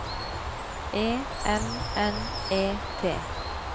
E M N E T